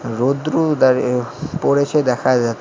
রোদ্রু দাড়ি এ পড়েছে দেখা যাচ--